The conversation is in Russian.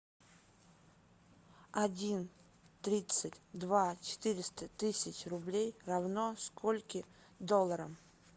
один тридцать два четыреста тысяч рублей равно скольки долларам